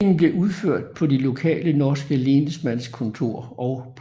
Stemplingen blev udført på de lokale norske lensmannskontor og politikamre